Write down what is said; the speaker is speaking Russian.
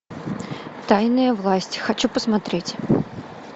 тайная власть хочу посмотреть